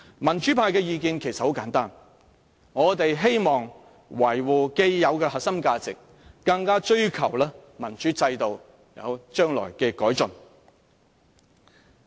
民主派的意見其實很簡單，我們希望維護既有的核心價值，更追求民主制度將來有所改進。